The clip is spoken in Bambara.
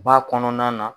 Ba kɔnɔna na